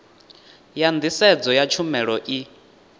ya nḓisedzo ya tshumelo i